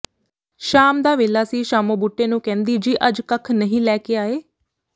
ਸ਼ਾਮ ਦਾ ਵੇਲਾ ਸੀ ਸ਼ਾਮੋ ਬੂਟੇ ਨੂੰ ਕਹਿੰਦੀ ਜੀ ਅੱਜ ਕੱਖ ਨਹੀਂ ਲੈ ਕੇ ਆਏ